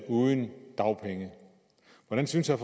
uden dagpenge hvordan synes herre